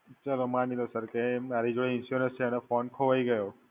ચલો માની લો Sir, કે મારી જોડે Insurance છે અને Phone ખોવાઈ ગયો.